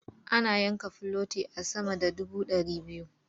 Ana yanka filoti a sama da dubu ɗari biyu.